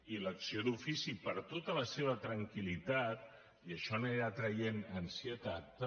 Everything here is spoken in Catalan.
i l’acció d’ofici per a tota la seva tranquillitat i això anirà traient ansietat també